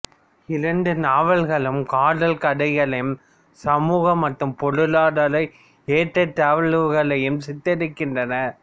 இரண்டு நாவல்களும் காதல் கதைகளையும் சமூக மற்றும் பொருளாதார ஏற்றத்தாழ்வுகளையும் சித்தரிக்கின்றன